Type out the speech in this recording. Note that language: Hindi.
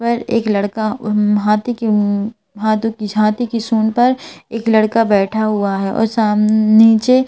पर एक लड़का उम हाथी उमम हातू की छ हाथी सुन पर एक लड़का बैठा हुआ है और शाम्म नीचे--